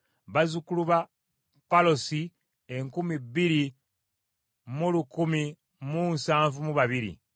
bazzukulu ba Palosi enkumi bbiri mu kikumi mu nsavu mu babiri (2,172),